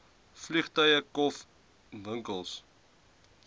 vliegtuie kof ewinkels